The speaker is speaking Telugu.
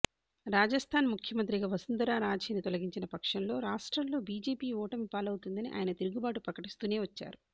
రాజస్థాన్ముఖ్యమంత్రిగా వసుంధరరాజేను తొలగించినపక్షంలో రాష్ట్రంలో బిజెపి ఓటమి పాలవుతుందని ఆయనతిరుగుబాటు ప్రకటిస్తూనే వచ్చారు